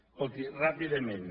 escolti ràpidament